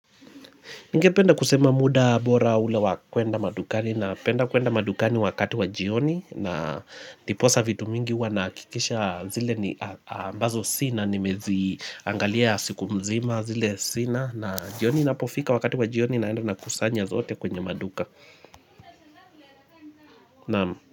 Nigependa kusema muda bora ule wa kwenda madukani napenda kwenda madukani wakati wa jioni na ndiposa vitu mingi huwa nahakikisha zile ni ambazo sina nimeziangalia siku mzima zile sina na jioni napofika wakati wa jioni naenda nakusanya zote kwenye maduka.